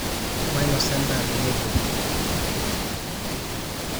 mainosa endaa tenebo